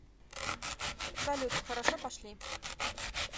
салют хорошо пошли